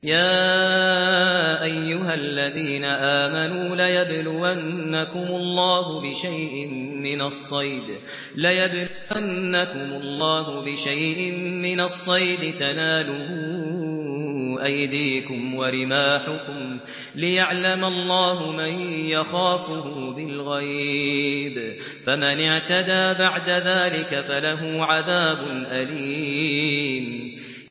يَا أَيُّهَا الَّذِينَ آمَنُوا لَيَبْلُوَنَّكُمُ اللَّهُ بِشَيْءٍ مِّنَ الصَّيْدِ تَنَالُهُ أَيْدِيكُمْ وَرِمَاحُكُمْ لِيَعْلَمَ اللَّهُ مَن يَخَافُهُ بِالْغَيْبِ ۚ فَمَنِ اعْتَدَىٰ بَعْدَ ذَٰلِكَ فَلَهُ عَذَابٌ أَلِيمٌ